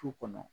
Du kɔnɔ